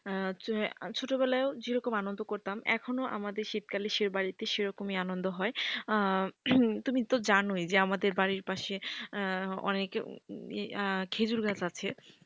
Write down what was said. হচ্ছে ছোটবেলায় যে রকম আনন্দ করতাম এখনো আমাদের শীতকালে সে বাড়িতে সেরকমই আনন্দ হয় তুমি তো জানোই আমাদের বাড়ির পাশে অনেক খেজুর গাছ আছে।